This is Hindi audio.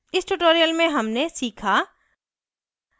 इस tutorial में हमने सीखा: